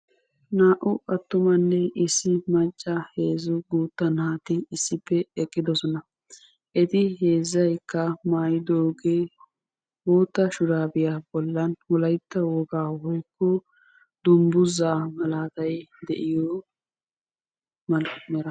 Naa"u attumanne issi macca heezzu guuttaa naati issippe eqqiddossona. Eti heezzaykka maayiddogee boottaa shuraabiya bollan wolaytta wogaa woykko dunguzaa malaatay de'iyo malaatay de'iyo...